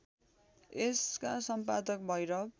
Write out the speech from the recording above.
यसका सम्पादक भैरव